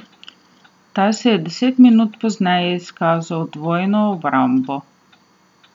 Ta se je deset minut pozneje izkazal z dvojno obrambo.